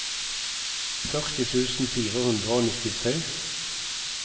førti tusen fire hundre og nittitre